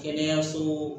Kɛnɛyaso